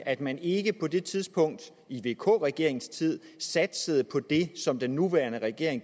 at man ikke på det tidspunkt i vk regeringens tid satsede på det som den nuværende regering